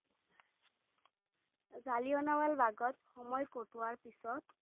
জালিয়নাবালবাগত সময় কটোৱাৰ পিছত